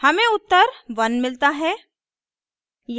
हमें उत्तर 1 मिलता है